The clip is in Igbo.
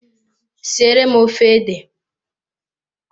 Siere m ofe ede!